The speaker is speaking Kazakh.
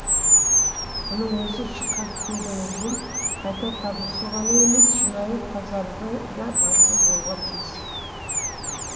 мұның өзі шыққан тегімізбен қайта табысу ғана емес шынайы тазарудың да басы болуға тиіс